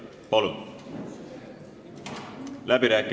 Palun!